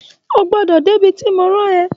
O gbọ́dọ̀ dé bi tí mo rán ẹ